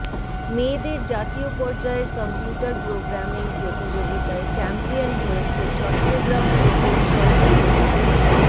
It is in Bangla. মেয়েদের জাতীয় পর্যায়ের কম্পিউটার প্রোগ্রামিং প্রতিযোগিতায় চ্যাম্পিয়ন হয়েছে চট্টগ্রাম প্রকৌশল ও প্রযুক্তি